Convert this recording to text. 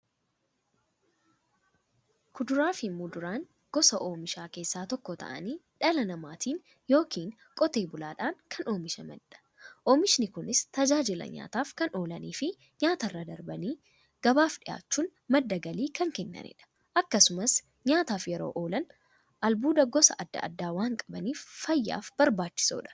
Kuduraafi muduraan gosa oomishaa keessaa tokko ta'anii, dhala namaatin yookiin Qotee bulaadhan kan oomishamaniidha. Oomishni Kunis, tajaajila nyaataf kan oolaniifi nyaatarra darbanii gabaaf dhiyaachuun madda galii kan kennaniidha. Akkasumas nyaataf yeroo oolan, albuuda gosa adda addaa waan qabaniif, fayyaaf barbaachisoodha.